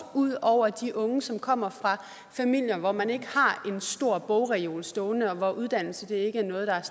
ud over de unge som kommer fra familier hvor man ikke har en stor bogreol stående og hvor uddannelse ikke er noget der